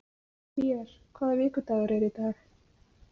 Hlér, hvaða vikudagur er í dag?